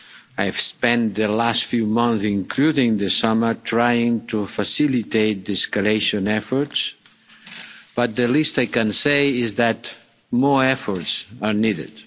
I've spent the last few months, including the summer, trying to facilitate de escalation efforts, but the least I can say is that more efforts are needed